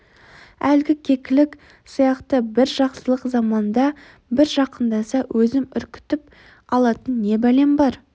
әлгі кекілік сияқты бір жақсылық заманда бір жақындаса өзім үркітіп алатын не бәлем бар